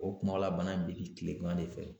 O kumaw la, bana in bi dimi kilegan de fɛ.